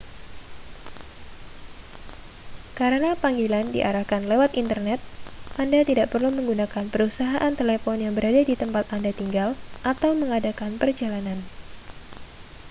karena panggilan diarahkan lewat internet anda tidak perlu menggunakan perusahaan telepon yang berada di tempat anda tinggal atau mengadakan perjalanan